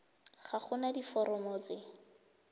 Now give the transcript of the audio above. ga go na diforomo tse